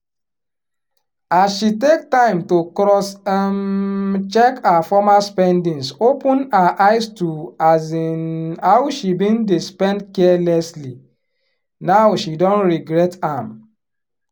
as she take time to cross um check her former spendings open her eyes to um how she bin dey spend carelessly now she don regret am